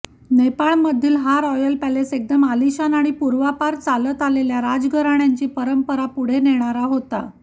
नेपाळमधील हा royal palace एकदम आलिशान आणि पूर्वापार चालत आलेल्या राजघराण्यांची परंपरा पुढे नेणारा होता